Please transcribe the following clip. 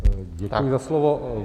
Děkuji za slovo.